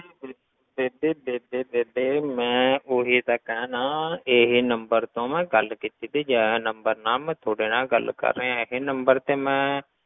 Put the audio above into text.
ਬੇ~ ਬੇਬੇ ਬੇਬੇ ਬੇਬੇ ਮੈਂ ਉਹੀ ਤਾਂ ਕਹਿਨਾ ਇਹ number ਤੋਂ ਮੈਂ ਗੱਲ ਕੀਤੀ ਵੀ ਜੇ ਇਹ number ਨਾਲ ਮੈਂ ਤੁਹਾਡੇ ਨਾਲ ਗੱਲ ਕਰ ਰਿਹਾਂ ਇਹ number ਤੇ ਮੈਂ